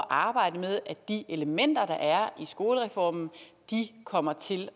arbejde med at de elementer der er i skolereformen kommer til at